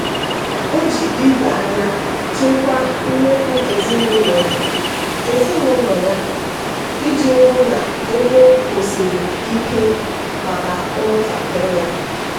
o ji ido anya chịkwaa mmefu ezinụlọ ezinụlọ ya iji hụ na ego kwụsiri ike maka ụmụntakịrị ya.